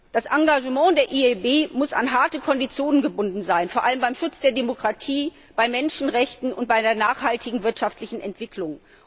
Das Engagement der EIB muss an harte Konditionen gebunden sein, vor allem beim Schutz der Demokratie, bei den Menschenrechten und bei der nachhaltigen wirtschaftlichen Entwicklung.